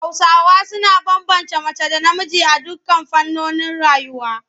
Hausawa suna bambance mace da namiji a dukkan fannonin rayuwa.